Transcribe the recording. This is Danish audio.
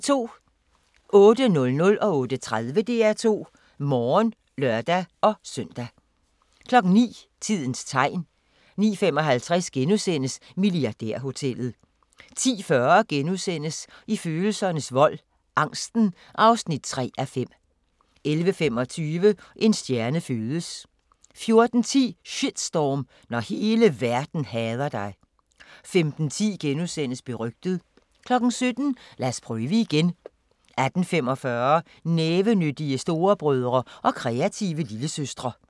08:00: DR2 Morgen (lør-søn) 08:30: DR2 Morgen (lør-søn) 09:00: Tidens Tegn 09:55: Milliardærhotellet * 10:40: I følelsernes vold - angsten (3:5)* 11:25: En stjerne fødes 14:10: Shitstorm – når hele verden hader dig 15:10: Berygtet * 17:00: Lad os prøve igen 18:45: Nævenyttige storebrødre og kreative lillesøstre